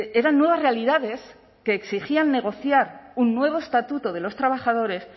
eran nuevas realidades que exigían negociar un nuevo estatuto de los trabajadores